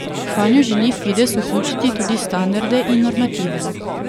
Vanjo želi Fides vključiti tudi standarde in normative.